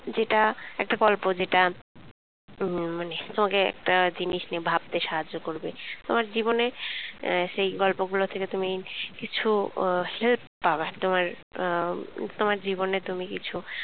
যেটা একটা গল্প যেটা উম মানে তোমাকে একটা জিনিস নিয়ে ভাবতে সাহায্য করবে। তোমার জীবনে আহ সে গল্পগুলো থেকে তুমি কিছু আহ help পাবা তোমার তোমার জীবনে কিছু